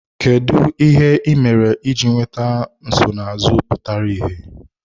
Kedu ihe ị mere iji nweta nsonaazụ pụtara ìhè?